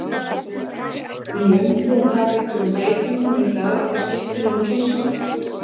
Heimir Már: Mun jómfrúin taka einhverjum breytingum við það að það skipti nú um kynslóð?